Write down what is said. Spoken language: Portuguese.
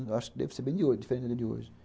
Acho que deve ser bem diferente da de hoje.